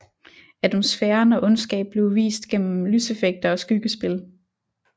Atmosfæren og ondskab blev vist igennem lyseffekter og skyggespil